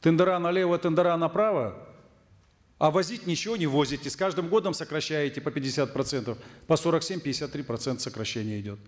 тендера налево тендера направо а возить ничего не возите с каждым годом сокращаете по пятьдесят процентов по сорок семь пятьдесят три процента сокращение идет